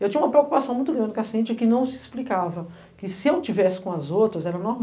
Eu tinha uma preocupação muito grande com a Cintia, que não se explicava, que se eu estivesse com as outras era